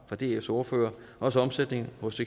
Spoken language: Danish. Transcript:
fra dfs ordfører også omsætning hos